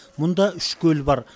мұнда үш көл бар